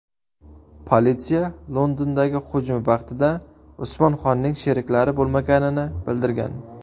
Politsiya Londondagi hujum vaqtida Usmon Xonning sheriklari bo‘lmaganini bildirgan.